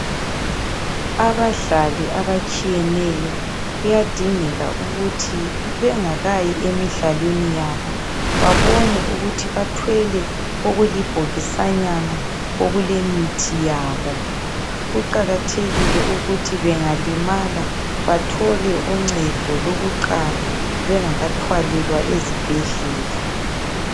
Abadlali abatshiyeneyo kuyadingeka ukuthi bengakayi emidlalweni yabo babone ukuthi bathwele okulibhokisanyana okulemithi yabo, kuqakathekile ukuthi bengalimala bathole uncedo lokuqala bengakathwalelwa ezibhedlela.